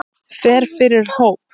Fer fyrir hóp.